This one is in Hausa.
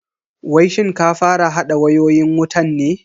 Wai shin ka fara hada wayoyin wutan ne?